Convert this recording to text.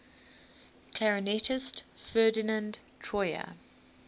clarinetist ferdinand troyer